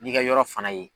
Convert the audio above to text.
N'i ka yɔrɔ fana ye